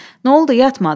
N'oldu, yatmadı?